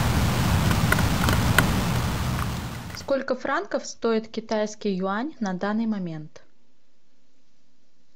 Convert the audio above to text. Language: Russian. сколько франков стоит китайский юань на данный момент